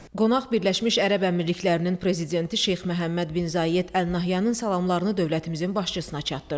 Qonaq Birləşmiş Ərəb Əmirliklərinin Prezidenti Şeyx Məhəmməd bin Zayed Əl Nəhyanın salamlarını dövlətimizin başçısına çatdırdı.